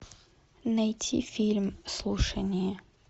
найти фильм слушание